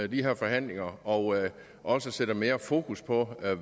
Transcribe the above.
de her forhandlinger og også sætter mere fokus på